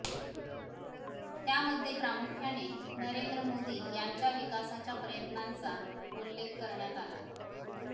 त्यामध्ये प्रामुख्याने नरेंद्र मोदी यांच्या विकासाच्या प्रयत्नांचा उल्लेख करण्यात आला